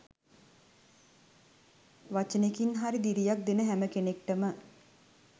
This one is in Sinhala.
වචනෙකින් හරි දිරියක් දෙන හැම කෙනෙක්ටම